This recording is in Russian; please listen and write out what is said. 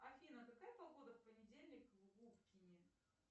афина какая погода в понедельник в губкине